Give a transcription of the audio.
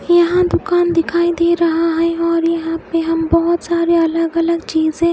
यहा दुकान दिखाई दे रहा है और यहा पे हम बहोत सारे अलग अलग चीजे--